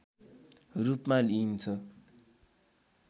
रूपमा लिइन्छ